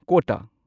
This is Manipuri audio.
ꯀꯣꯇꯥ